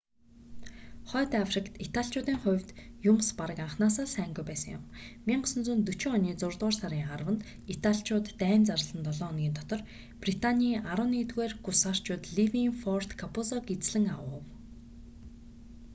хойд африкт италичуудын хувьд юмс бараг анхнаасаа л сайнгүй байсан юм 1940 оны зургаадугаар сарын 10-нд италичууд дайн зарласан долоо хоногийн дотор британий 11-р гусарчууд ливийн форт каппузог эзлэн авав